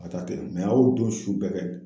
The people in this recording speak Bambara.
a ye o don su bɛɛ kɛ